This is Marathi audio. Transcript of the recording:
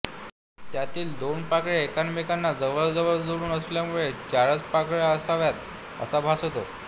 त्यातील दोन पाकळ्या एकमेकांना जवळ जवळ जोडून असल्यामुळे चारच पाकळ्या असाव्यात असा भास होतो